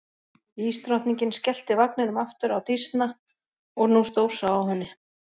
Ísdrottningin skellti vagninum aftur á Dísna og nú stórsá á henni.